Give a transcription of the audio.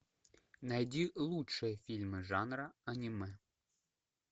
найди лучшие фильмы жанра аниме